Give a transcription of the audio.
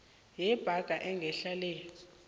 yebhaga engehla le